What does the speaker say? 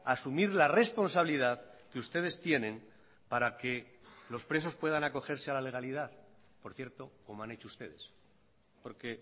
asumir la responsabilidad que ustedes tienen para que los presos puedan acogerse a la legalidad por cierto como han hecho ustedes porque